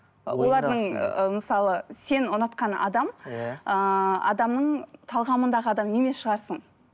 олардың ы мысалы сен ұнатқан адам иә ыыы адамның талғамындағы адамы емес шығарсың